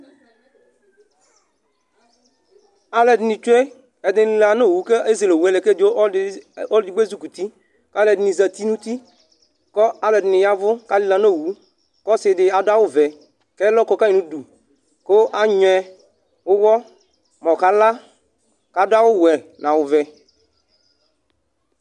Aluɛdini tsue ɛdini abu uvú ezɛowue ku ezele owue lɛ ku ɔlɔdi edigbo aluɛdini zati nu uti kaluɛdini yavu aluɛdini zati nu owu ku asidini adu awu vɛ kɛlɔ kɔ nu udu kɔka nyui uwɔ mu ɔkala ku adu awu nu awu vɛ